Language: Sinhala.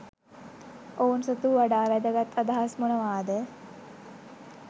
ඔවුන් සතු වඩා වැදගත් අදහස් මොනවාද